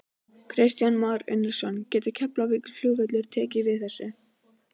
Kristján Már Unnarsson: Getur Keflavíkurflugvöllur tekið við þessu?